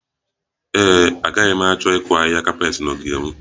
Ee e, agaghị m achọ ịkụ ahịhịa kapet na ogige m